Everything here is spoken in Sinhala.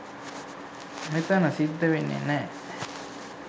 මෙතැන සිද්ධ වෙන්නේ නෑ.